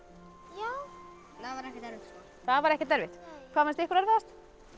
já það var ekkert erfitt það var ekkert erfitt hvað fannst ykkur erfiðast